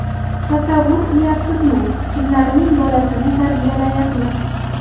Tasavvur qilyapsizmi, kimlarning bolasini tarbiyalayapmiz?